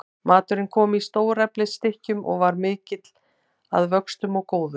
Maturinn kom í stóreflis stykkjum og var mikill að vöxtum og góður.